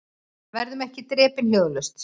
Verðum ekki drepin hljóðalaust